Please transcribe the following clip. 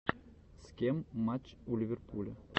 с кем матч у ливерпуля